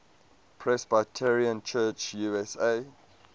presbyterian church usa